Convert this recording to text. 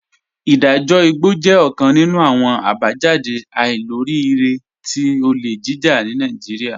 Idajọ igbọ jẹ ọkan nínu awọn abajáde àìlòríìrẹ̀ tí ọlé jíjà ni Naijíríà.